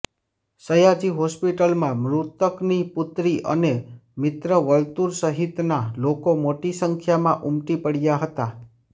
સયાજી હોસ્પિટલમાં મૃતકની પુત્રી અને મિત્ર વર્તુળ સહિતના લોકો મોટી સંખ્યામાં ઊમટી પડયાં હતાં